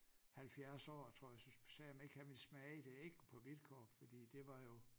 70 år tror jeg så sagde jeg om ikke han ville smage det ikke på vilkår fordi det var jo